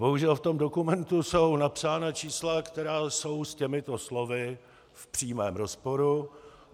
Bohužel v tom dokumentu jsou napsána čísla, která jsou s těmito slovy v přímém rozporu.